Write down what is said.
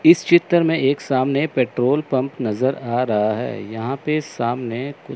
इस चित्र में एक सामने पेट्रोल पंप नजर आ रहा है यहां पे सामने--